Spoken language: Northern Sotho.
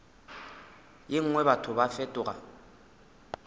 ye nngwe batho ba fetoga